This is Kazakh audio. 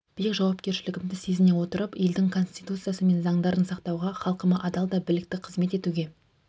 биік жауапкершілігімді сезіне отырып елдің конституциясы мен заңдарын сақтауға халқыма адал да білікті қызмет етуге